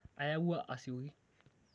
ayawua asioki